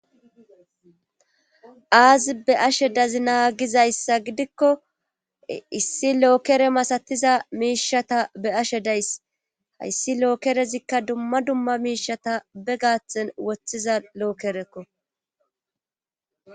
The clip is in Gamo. Aazi be'ashe dazi naagizayssa gidikko issi lookere masatiza miishata be ashe days hayssi lookerezikka dumma dumma miishata be gaathen woththiza lookerekko.